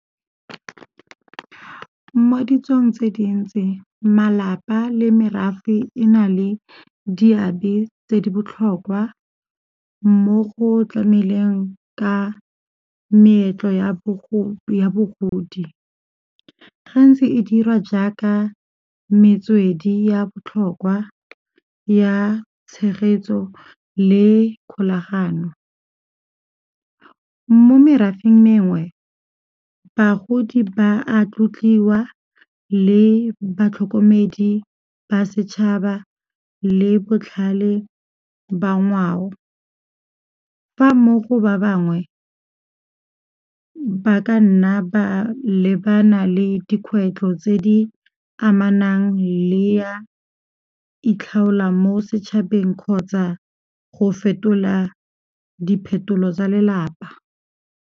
Mo ditsong tse dintsi malapa le merafe e na le diabe tse di botlhokwa mo go tlameleng ka meetlo ya bogodi, gantsi e diriwa jaaka metswedi ya botlhokwa ya tshegetso le kgolagano. Mo merafeng mengwe, bagodi ba a tlotliwa le batlhokomedi ba setšhaba, le botlhale ba ngwao. Fa mmogo ba bangwe, ba ka nna ba lebana le dikgwetlho tse di amanang le ya itlhaolang mo setšhabeng kgotsa go fetola diphetolo tsa lelapa.